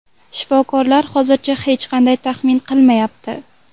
Shifokorlar hozircha hech qanday taxmin qilmayapti.